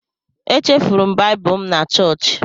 Echefuru m Baịbụl m na chọọchị.